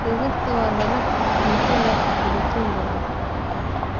Digirta waa dalag cunto leh borotiin badan.